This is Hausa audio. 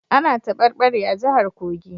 Ana tabarbare a jihar Kogi